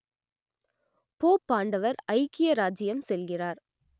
போப்பாண்டவர் ஐக்கிய இராச்சியம் செல்கிறார்